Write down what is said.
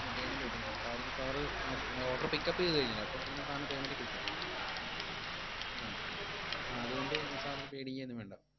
payment കിട്ടും, കാര്യം sir അത്~ ആ order pick up ചെയ്ത് കഴിഞ്ഞല്ലോ, അപ്പൊ പിന്നെ sir ന് payment കിട്ടും. ആഹ് അതുകൊണ്ട് sir പേടിക്കയൊന്നും വേണ്ട